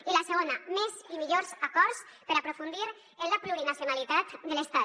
i la segona més i millors acords per aprofundir en la plurinacionalitat de l’estat